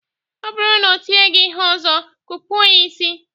Ọ bụrụ na o tie gị ihe ọzọ, kụpụọ ya ịsị!